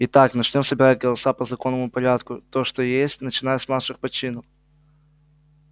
итак начнём собирать голоса по законному порядку то что есть начиная с младших по чину